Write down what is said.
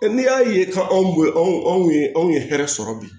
n'i y'a ye k'an b'o anw anw ye anw ye hɛrɛ sɔrɔ bi